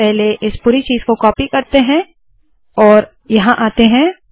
पहले इस पूरी चीज़ को कॉपी करते है और यहाँ आते है